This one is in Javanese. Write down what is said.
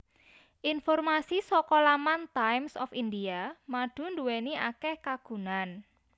Informasi saka laman Times of India madu nduwéni akéh kagunan